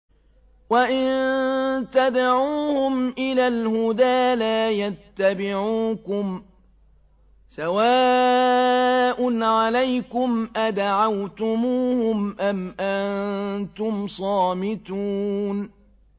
وَإِن تَدْعُوهُمْ إِلَى الْهُدَىٰ لَا يَتَّبِعُوكُمْ ۚ سَوَاءٌ عَلَيْكُمْ أَدَعَوْتُمُوهُمْ أَمْ أَنتُمْ صَامِتُونَ